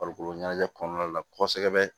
Farikolo ɲɛnajɛ kɔnɔna la kosɛbɛ